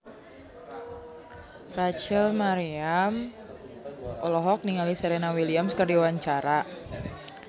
Rachel Maryam olohok ningali Serena Williams keur diwawancara